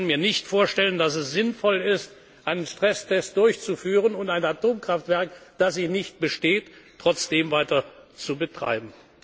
werden müssen. Ich kann mir nicht vorstellen, dass es sinnvoll ist, einen Stresstest durchzuführen und ein Atomkraftwerk, das ihn nicht besteht, trotzdem weiter